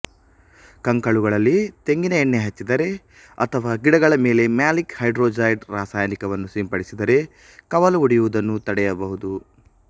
ಕಂಕುಳುಗಳಲ್ಲಿ ತೆಂಗಿನ ಎಣ್ಣೆ ಹಚ್ಚಿದರೆ ಅಥವಾ ಗಿಡಗಳ ಮೇಲೆ ಮ್ಯಾಲಿಕ್ ಹೈಡ್ರೊಜೈಡ್ ರಾಸಾಯನಿಕವನ್ನು ಸಿಂಪಡಿಸಿದರೆ ಕವಲು ಒಡೆಯುವುದನ್ನು ತಡೆಯಬಹುದು